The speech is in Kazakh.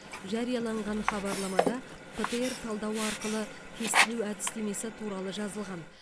жарияланған хабарламада птр талдауы арқылы тестілеу әдістемесі туралы жазылған